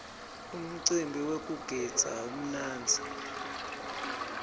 umcimbi wekugidza umnandzi